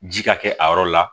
Ji ka kɛ a yɔrɔ la